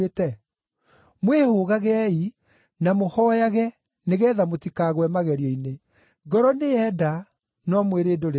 Mwĩhũgagei na mũhooyage nĩgeetha mũtikagwe magerio-inĩ. Ngoro nĩyenda, no mwĩrĩ ndũrĩ na hinya.”